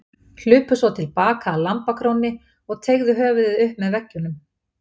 Hlupu svo til baka að lambakrónni og teygðu höfuðið upp með veggjunum.